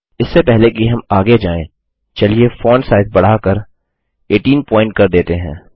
इससे पहले कि हम आगे जाएँ चलिए फ़ॉन्ट साइज़ बढ़ाकर 18 पॉइंट कर देते हैं